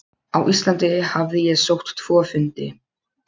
Á Íslandi hafði ég sótt tvo fundi.